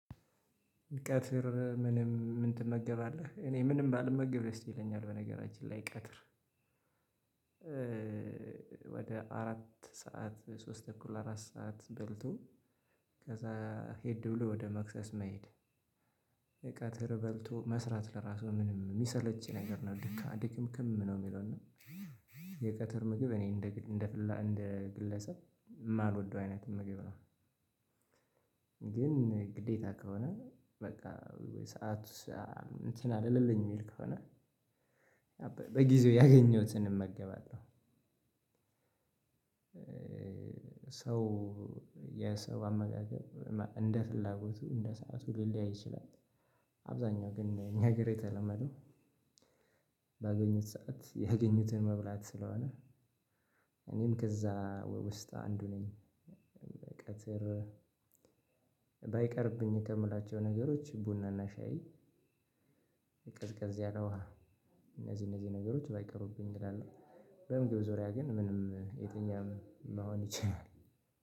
ቀትር ምንም ምን ትመገባለህ እኔ ምንም ባልመግብ ደስ ይለኛል በነገራችን ላይ ቀትር? ወደ አራት ሰዓት ሶስት ተኩል አራት ሰዓት በልቶ ከዛ ሄድ ብሎ ወደ መክሰስ መሄድ። ቀትር በልቶ መስራት ለራሱ ምንም እሚሰለች ነገር ነው ድካም ድክምክም ነው እሚለው እና የቀትር ምግብ እኔ እንደ እንደ እንደ ግለሰብ የማልወደው አይነት ምግብ ነው። ግን ግዴታ ከሆነ በቃ ወይ ሰዓቱ እንትን አልልልኝ እሚል ከሆነ በጊዜው ያገኘሁትን እመገባለሁ። ሰው የሰው አመጋገብ እንደ ፍላጎቱ እንደ ሰዓቱ ሊል ሊያይ ይችላል። አብዛኛው ግን እኛ ሀገር የተለመደው ባገኙት ሰዓት ያገኙትን መብላት ስለሆነ እኔም ከዛ ውስጥ አንዱ ነኝ። በቀትር ባይቀርብኝ ከምላቸው ነገሮች ቡናና ሻይ። ቀዝቀዝ ያለ ውሃ እነዚህ እነዚህ ነገሮች ባይቀሩብኝ እላለሁ በምግብ ዙሪያ ግን ምንም የትኛውም መሆን ይችላል።